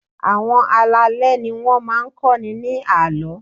Àwọn alálẹ̀ ni wọ́n máa ń kọ́ni ní àlọ́.